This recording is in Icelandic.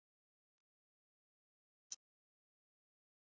En jafnan hefðirðu tekið þá áhættu að falla í skuggann af mér.